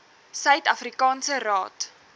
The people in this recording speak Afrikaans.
suid afrikaanse raad